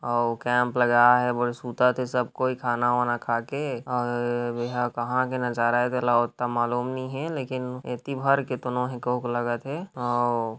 और कैंप लगा है बड़े सुता ते सब कोई खाना वाना खा के और ये कहाँ का नज़ारा है तो मालूम नही है लेकिन इति भर के तो नो हे कोक लागत है और--